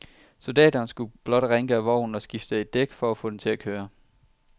Soldaterne skulle blot rengøre vognen og skifte et dæk for at få den til at køre.